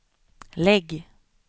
lägg